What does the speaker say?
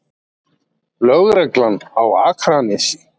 Lögreglan á Akranesi?